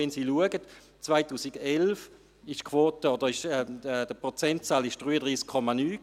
Wenn Sie sehen, 2011 war die Quote oder der Prozentsatz 33,9 Prozent.